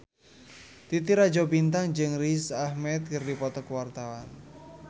Titi Rajo Bintang jeung Riz Ahmed keur dipoto ku wartawan